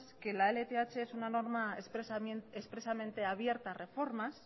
que la lth es una norma expresamente abierta a reformas